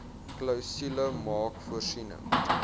klousule maak voorsiening